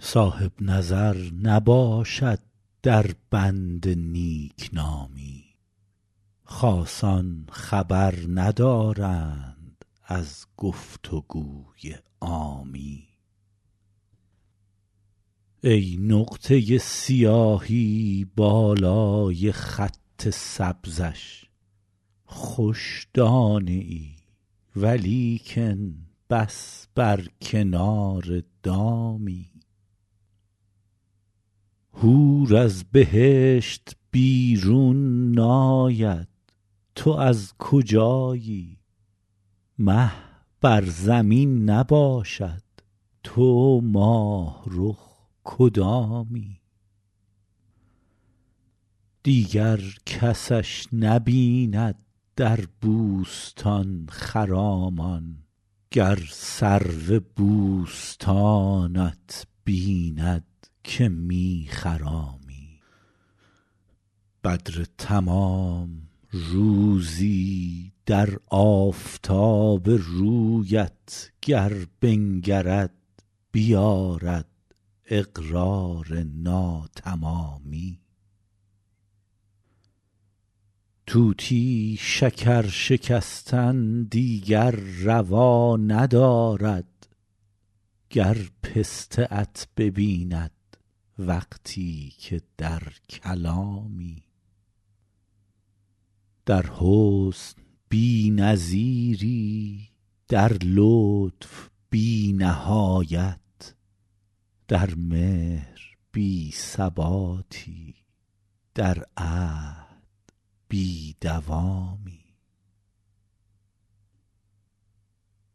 صاحب نظر نباشد در بند نیک نامی خاصان خبر ندارند از گفت و گوی عامی ای نقطه سیاهی بالای خط سبزش خوش دانه ای ولیکن بس بر کنار دامی حور از بهشت بیرون ناید تو از کجایی مه بر زمین نباشد تو ماه رخ کدامی دیگر کسش نبیند در بوستان خرامان گر سرو بوستانت بیند که می خرامی بدر تمام روزی در آفتاب رویت گر بنگرد بیآرد اقرار ناتمامی طوطی شکر شکستن دیگر روا ندارد گر پسته ات ببیند وقتی که در کلامی در حسن بی نظیری در لطف بی نهایت در مهر بی ثباتی در عهد بی دوامی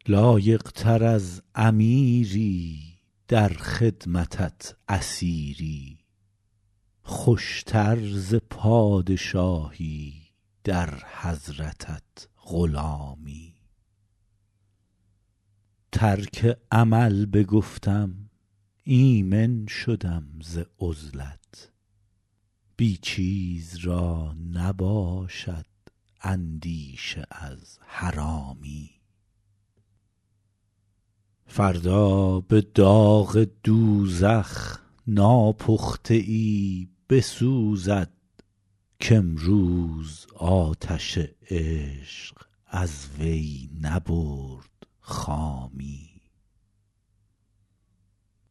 لایق تر از امیری در خدمتت اسیری خوش تر ز پادشاهی در حضرتت غلامی ترک عمل بگفتم ایمن شدم ز عزلت بی چیز را نباشد اندیشه از حرامی فردا به داغ دوزخ ناپخته ای بسوزد کامروز آتش عشق از وی نبرد خامی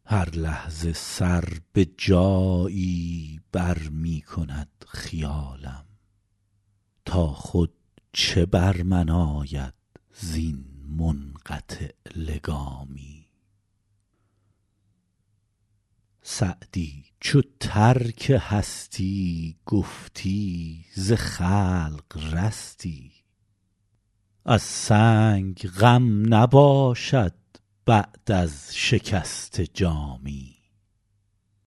هر لحظه سر به جایی بر می کند خیالم تا خود چه بر من آید زین منقطع لگامی سعدی چو ترک هستی گفتی ز خلق رستی از سنگ غم نباشد بعد از شکسته جامی